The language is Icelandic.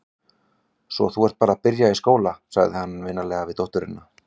Svo þú ert bara að byrja í skóla, sagði hann vinalega við dótturina.